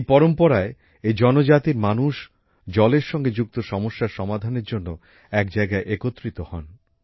এই পরম্পরায় এই জনজাতির মানুষ জলের সঙ্গে যুক্ত সমস্যার সমাধানের জন্য এক জায়গায় একত্রিত হন